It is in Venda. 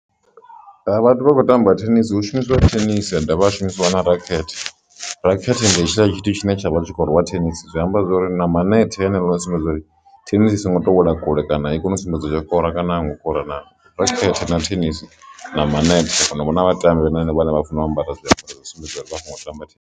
A vhathu vha khou tamba thenisi hu shumisiwa thenisi a dovha a shumisiwa na rokhethe. Rokhethe ndi hetshila tshithu tshine tsha vha tshi khou rwa thenisi zwi amba zwori na manetha haneaḽa a sumbedza uri thenisi songo to wela kule kana i kone u sumbedza tsha kora kana a ingo kora na rokhethe na tennis na manethe na a kona u vhona vhatambi vhane na vha funa u ambara zwiambaro zwine zwo sumbedziwa kha .